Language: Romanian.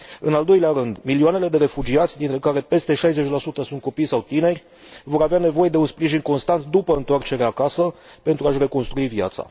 în al doilea rând, milioanele de refugiați, dintre care peste 60 sunt copii sau tineri, vor avea nevoie de un sprijin constant după întoarcerea acasă, pentru a și reconstrui viața.